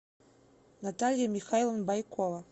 наталья михайловна байкова